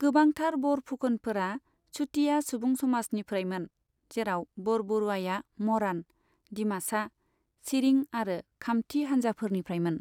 गोबांथार बरफुकनफोरा चुटिया सुबुंसमाजनिफ्रायमोन, जेराव बरबरुआया मरान, दिमासा, चिरिं आरो खामति हानजाफोरनिफ्रायमोन।